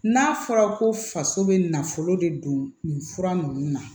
N'a fɔra ko faso bɛ nafolo de don nin fura ninnu na